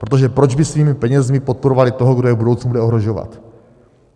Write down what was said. Protože proč by svými penězi podporovali toho, kdo je v budoucnu bude ohrožovat?